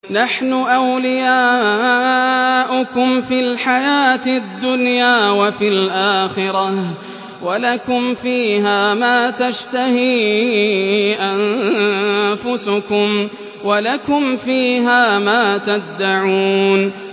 نَحْنُ أَوْلِيَاؤُكُمْ فِي الْحَيَاةِ الدُّنْيَا وَفِي الْآخِرَةِ ۖ وَلَكُمْ فِيهَا مَا تَشْتَهِي أَنفُسُكُمْ وَلَكُمْ فِيهَا مَا تَدَّعُونَ